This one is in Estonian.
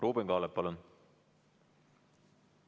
Ruuben Kaalep, palun!